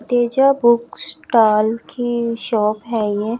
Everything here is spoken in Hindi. तेजा बुक स्टॉल की शॉप है ये--